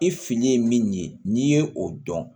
I fili ye min ye n'i ye o dɔn